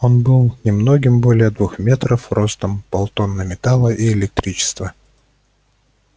он был немногим более двух метров ростом полтонны металла и электричества